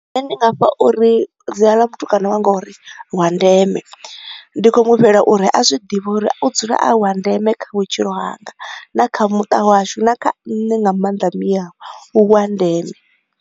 Nṋe ndi nga fha uri dzina ḽa mutukana wanga uri Wandeme, ndi khou mu fhela uri a zwi ḓivhe uri u dzula a wa ndeme kha vhutshilo hanga na kha muṱa ha washu na kha nṋe nga maanḓa mme awe u wa ndeme.